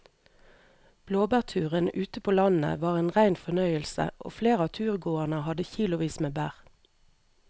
Blåbærturen ute på landet var en rein fornøyelse og flere av turgåerene hadde kilosvis med bær.